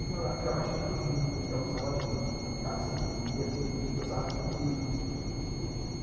Começamos a ficar mais tempo juntos, a gente almoçava juntos, estava sempre junto, o dia todo junto, ele conversava muito comigo.